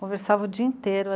Conversava o dia inteiro.